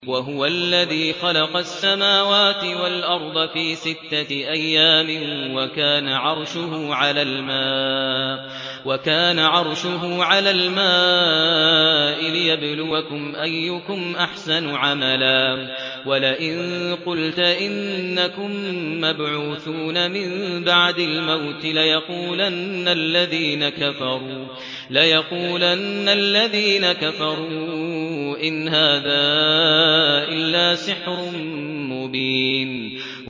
وَهُوَ الَّذِي خَلَقَ السَّمَاوَاتِ وَالْأَرْضَ فِي سِتَّةِ أَيَّامٍ وَكَانَ عَرْشُهُ عَلَى الْمَاءِ لِيَبْلُوَكُمْ أَيُّكُمْ أَحْسَنُ عَمَلًا ۗ وَلَئِن قُلْتَ إِنَّكُم مَّبْعُوثُونَ مِن بَعْدِ الْمَوْتِ لَيَقُولَنَّ الَّذِينَ كَفَرُوا إِنْ هَٰذَا إِلَّا سِحْرٌ مُّبِينٌ